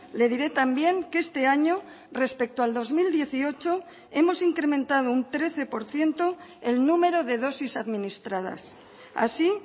le diré también que este año respecto al dos mil dieciocho hemos incrementado un trece por ciento el número de dosis administradas así